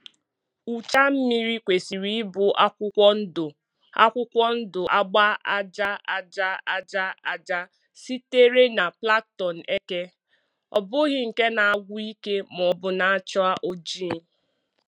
Ụcha mmiri kwesịrị ịbụ akwụkwọ ndụ akwụkwọ ndụ-agba aja aja aja aja sitere na plankton eke, ọ bụghị nke na-agwụ ike maọbụ na-acha oji.